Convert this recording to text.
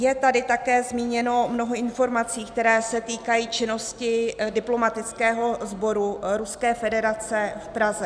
Je tady také zmíněno mnoho informací, které se týkají činnosti diplomatického sboru Ruské federace v Praze.